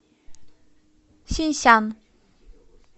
синьсян